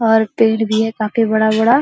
और पेड़ भी है काफी बड़ा-बड़ा।